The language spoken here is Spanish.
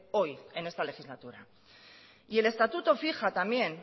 hoy en esta legislatura y el estatuto fija también